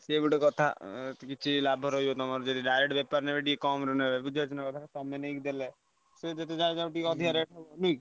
ସିଏ ଗୋଟେ କଥା। କିଛି ଲାଭ ରହିବନାହିଁ ତମର ଯଦି direct ବେପାର ନେମେନି ଟିକେ କମରେ ନେବେ ବୁଝିପାରୁଚନା କଥା। ତମେ ନେଇ ଦେଲେ ସେ ଯେତେ ଯାହା ଟିକେ ଅଧିକ rate ନାଇଁ।